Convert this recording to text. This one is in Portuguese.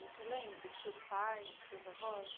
Você lembra dos seus pais, dos seus avós?